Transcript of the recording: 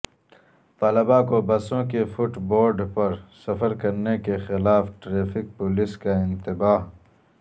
طلباء کو بسوں کے فٹ بورڈ پر سفر کرنے کیخلاف ٹریفک پولیس کا انتباہ